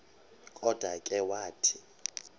kodwa ke wathi